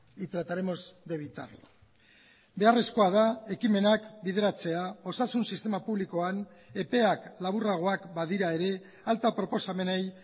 y trataremos de evitarlo beharrezkoa da ekimenak bideratzea osasun sistema publikoan epeak laburragoak badira ere alta proposamenei